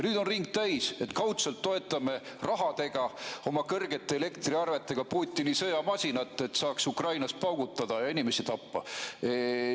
Nüüd on ring täis, et kaudselt toetame rahaga, oma kõrgete elektriarvetega Putini sõjamasinat, et saaks Ukrainas paugutada ja inimesi tappa.